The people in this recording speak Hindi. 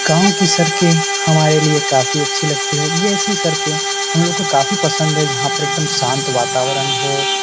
गांव की सड़के हमारे लिए काफी अच्छी लगती है। जी ये ऐसी सड़के हम लोग को काफी पसंद है जहां पर एकदम शांत वातावरण हो।